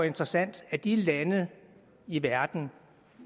interessant at de lande i verden